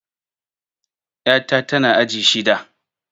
Ƴa ta tana aji shida